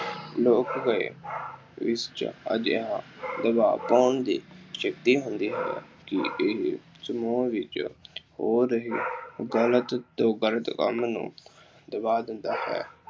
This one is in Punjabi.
ਲੋਕ ਰਾਏ ਵਿੱਚ ਅਜਿਹਾ ਦਬਾਅ ਪਾਉਣ ਦੀ ਸ਼ਕਤੀ ਹੁੰਦੀ ਹੈ ਕਿ ਇਹ ਸਮੂਹਾਂ ਵਿੱਚ ਹੋ ਰਹੇ ਗਲਤ ਤੋਂ ਗਲਤ ਕੰਮ ਨੂੰ ਦਬਾ ਦਿੰਦਾ ਹੈ।